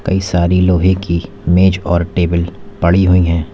कई सारी लोहे की मेज और टेबल पड़ी हुई है।